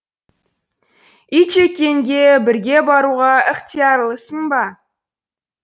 итжеккенге бірге баруға ықтиярлысың ба